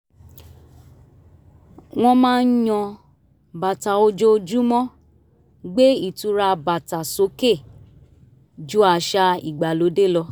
wọ́n máa ń yan bàtà ojoojúmọ́ gbé ìtura bàtà sókè jú àṣà ìgbàlódé lọ